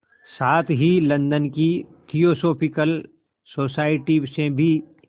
साथ ही लंदन की थियोसॉफिकल सोसाइटी से भी